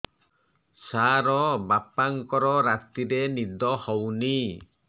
ସାର ବାପାଙ୍କର ରାତିରେ ନିଦ ହଉନି